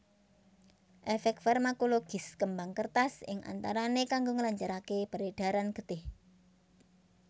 Efek farmakologis kembang kertas ing antarane kanggo nglancarake peredaran getih